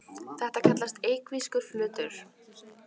Þetta kallast evklíðskur flötur.